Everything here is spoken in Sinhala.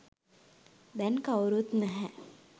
දැන් කවුරුත් නැහැ.